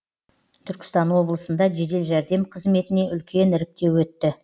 түркістан облысында жедел жәрдем қызметіне үлкен іріктеу өтті